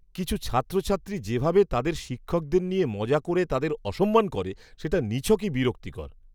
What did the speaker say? কিছু ছাত্রছাত্রী যেভাবে তাদের শিক্ষকদের নিয়ে মজা করে তাদের অসম্মান করে, সেটা নিছকই বিরক্তিকর।